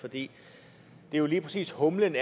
for det er jo lige præcis humlen